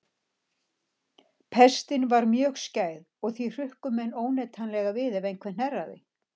Pestin var mjög skæð og því hrukku menn óneitanlega við ef einhver hnerraði.